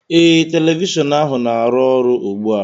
ee, telivishọn ahụ na-arụ ọrụ ugbu a